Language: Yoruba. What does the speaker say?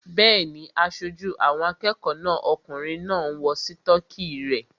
Bẹ́ẹ̀ni, aṣojú àwọn akẹ́kọ̀ọ́ náà okùnrin náà ń wọ sítọ́kì rẹ̀